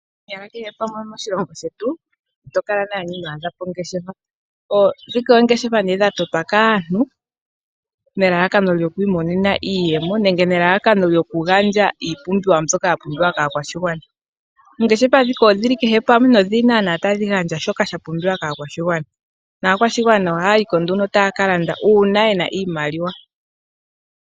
Konyala kehe pamwe moshilongo shetu itokala naana ino adhapo ongeshefa Gandja iipumbiwa mbyoka yapumbiwa kaakwashigwana nakwashigwana ohayayiko nduno uuna yena oshimaliwa.